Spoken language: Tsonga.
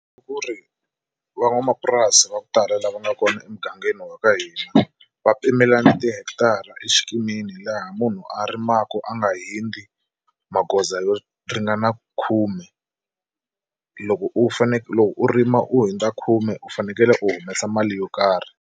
I ku ri van'wamapurasi va ku tala lava nga kona emugangeni wa ka hina va pimelana tihekitara exikimini laha munhu a rimaku a nga hundzi magoza yo ringana khume loko u loko u rima u hundza khume u fanekele u humesa mali yo karhi.